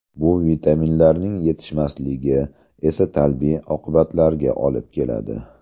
Bu vitaminlarning yetishmasligi esa salbiy oqibatlarga olib keladi.